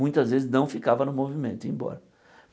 Muitas vezes não ficava no movimento, ia embora.